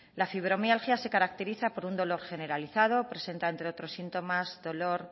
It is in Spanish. la fibromialgia se caracteriza por un dolor generalizado presenta entre otros síntomas dolor